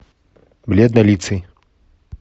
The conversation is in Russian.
бледнолицый